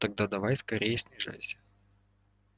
тогда давай скорее снижайся